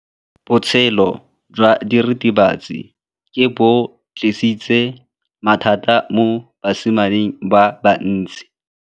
Botshelo jwa diritibatsi ke bo tlisitse mathata mo basimaneng ba bantsi.